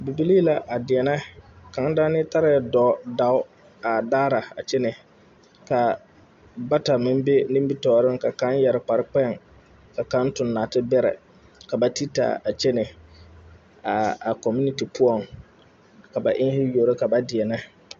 Bibilii la a deɛnɛ kaŋ daanee tarɛɛ daa dao a daara a kyɛne kaa bata meŋ be nimitoore ka kaŋ yɛre kpare kpeŋ kyɛ kaŋ tuŋ naate bɛrɛ ka ba ti taa a kyɛnɛ a a kɔminiti poɔŋ ka ba eŋne yuoro ka ba deɛnɛ.